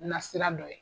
Na sira dɔ ye